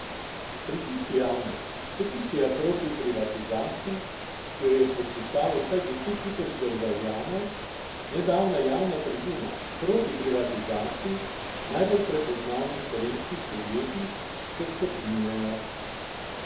Pritiski javnosti, peticija proti privatizaciji, ki jo je podpisalo vsaj deset tisoč državljanov, nedavna javna tribuna proti privatizaciji najbolj prepoznavnih slovenskih podjetij, se stopnjujejo.